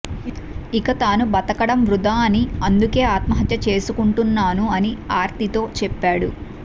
ఇక తాను బతకడం వృథా అని అందుకే ఆత్మహత్య చేసుకుంటున్నాను అని ఆర్తితో చెప్పాడు